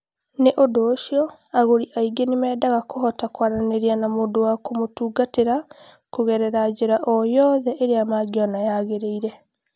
Nĩ ũndũ ũcio, agũri aingĩ nĩ mendaga kũhota kwaranĩria na mũndũ wa kũmatungatĩra kũgerera njĩra o yothe ĩrĩa mangĩona yagĩrĩire.